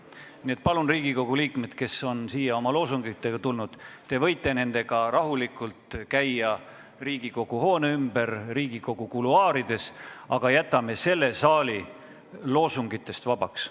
Nii et palun, Riigikogu liikmed, kes on siia oma loosungitega tulnud, te võite nendega rahulikult käia Riigikogu hoone ümber, Riigikogu kuluaarides, aga jätame selle saali loosungitest vabaks.